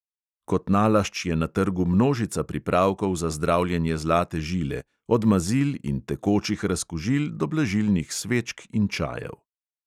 Kot nalašč je na trgu množica pripravkov za zdravljenje zlate žile, od mazil in tekočih razkužil do blažilnih svečk in čajev.